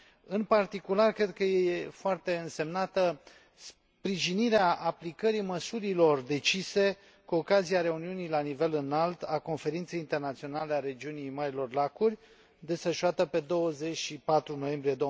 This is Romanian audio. În particular, cred că e foarte însemnată sprijinirea aplicării măsurilor decise cu ocazia reuniunii la nivel înalt a Conferinței Internaționale a Regiunii Marilor Lacuri, desfășurată pe 24 noiembrie